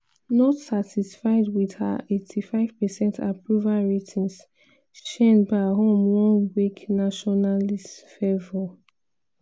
not satisfied wit her 85 percent approval ratings sheinbaum wan wake nationalist fervour.